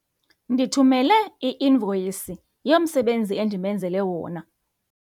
Ndithumele i-invoyisi yomsebenzi endimenzele wona.